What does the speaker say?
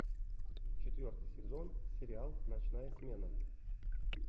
четвертый сезон сериал ночная смена